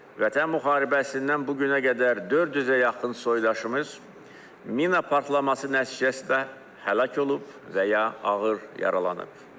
Vətən müharibəsindən bu günə qədər 400-ə yaxın soydaşımız mina partlaması nəticəsində həlak olub və ya ağır yaralanıb.